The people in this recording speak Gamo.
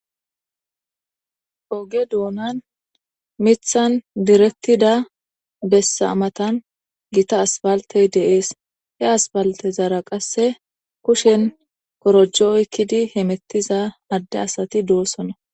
oge doonan mithan direktida bessamatan gita asfaltey deees he asfaltezaara qasse kushen korojo7oykkidi hemettiza adde asati doossona